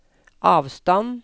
avstand